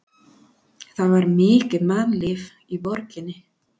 Það var mikið mannlíf í borginni.